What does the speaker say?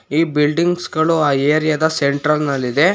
ಈ ಬಿಲ್ಡಿಂಗ್ಸ್ ಗಳು ಆ ಏರಿಯಾದ ಸೆಂಟ್ರರ್ ನಲ್ಲಿದೆ.